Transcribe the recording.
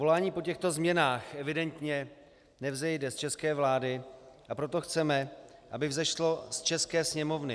Volání po těchto změnách evidentně nevzejde z české vlády, a proto chceme, aby vzešlo z české sněmovny.